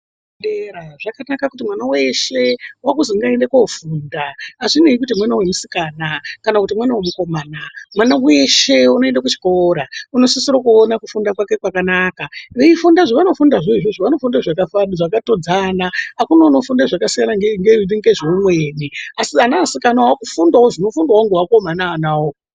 Zvakanaka kuti mwana weshe wakuzi ngaaende kofundaa hazvinei kuti mwana womusikana kana kuti mwana womukomana, mwana weshe unoenda kuchikora unosisira kuona kufunda kwake kwakanaka, veifunda zvavanofundazvo izvozvo vanofunda zvakatodzana, hakuna unofunda zvakasiyana nezveumweni, asi anasikanawo ofundawo zvinofundwawo nevakomana onao.